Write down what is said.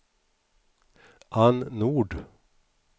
Anne Nord